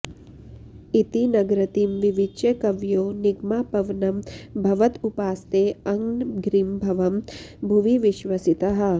इति नृगतिं विविच्य कवयो निगमापवनं भवत उपासतेऽङ्घ्रिमभवं भुवि विश्वसिताः